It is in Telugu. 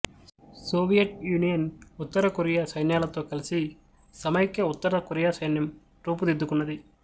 సోవియట్ యూనియన్ ఉత్తరకొరియా సైన్యాలతో కలిసి సమైక్య ఉత్తర కొరియా సైన్యం రూపుదిద్దుకున్నది